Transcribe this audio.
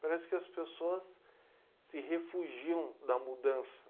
Parece que as pessoas se refugiam da mudança.